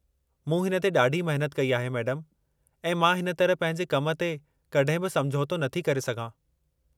मूं हिन ते ॾाढी महिनत कई आहे मैडमु ऐं मां हिन तरह पंहिंजे कम ते कॾहिं बि समुझौतो नथी करे सघां।